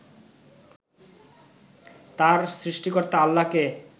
তার সৃষ্টিকর্তা আল্লাহকে